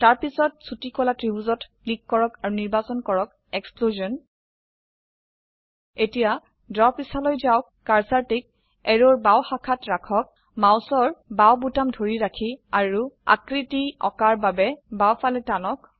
তাৰপিছত ছোটি কলা ত্ৰিভূজত ক্লিক কৰক আৰু নিৰ্বাচন কৰক এক্সপ্লশ্যন এতিয়া ড্ৰ পৃষ্ঠালৈ যাওক কাৰ্সাৰটি ক এৰোৰ বাও শাখাত ৰাখক মাউসৰ বাও বোতাম ধৰি ৰাখি আৰু আকৃতি আঁকাৰ বাবে বাও ফালে টানক